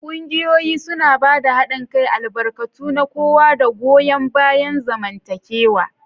Ƙungiyoyi suna ba da haɗin kai, albarkatu na kowa, da goyon bayan zamantakewa.